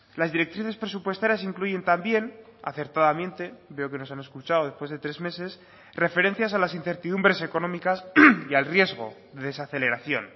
las directrices presupuestarias incluyen también acertadamente veo que nos han escuchado después de tres meses referencias a las incertidumbres económicas y al riesgo de desaceleración